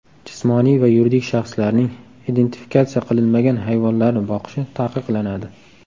Jismoniy va yuridik shaxslarning identifikatsiya qilinmagan hayvonlarni boqishi taqiqlanadi.